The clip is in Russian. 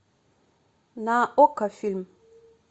на окко фильм